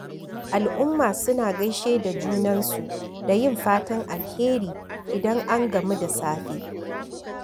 Al'umma suna gaishe da junansu da yin fatan alheri idan an gamu da safe.